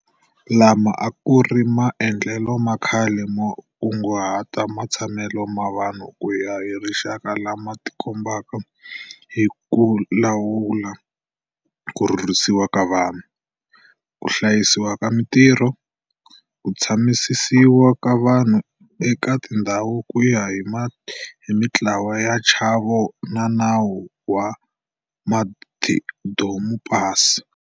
Lama a ku ri maendlelo ma khale mo kunguhata matshamelo ma vanhu ku ya hi rixaka lama tikombeke hi ku lawula ku rhurhisiwa ka vanhu, ku hlayisiwa ka mitirho, ku tshamisisiwa ka vanhu eka tindhawu ku ya hi mitlawa ni nchavo wa nawu wa madomupasi.